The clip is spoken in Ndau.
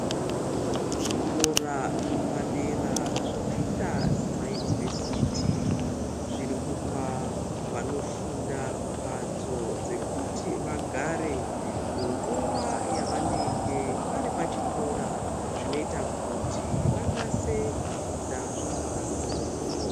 Zvikora zvepadera zvakaita semaunivhesiti zviri kupa vanofunda mbatso dzekuti vagare munguva yavanenge varipachikora zvinoita kuti vanase kufunda zvakanaka.